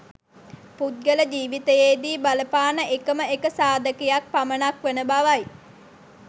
පුද්ගල ජීවිතයේ දී බලපාන එකම එක සාධකයක් පමණක් වන බවයි.